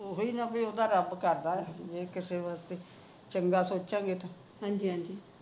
ਉਹੀ ਨਾ ਉਹਦਾ ਰੱਬ ਕਰਦਾ ਜੇ ਕਿਸੇ ਹੋਰ ਲਈ ਚੰਗਾ ਸੋਚਾਗੇ ਤਾ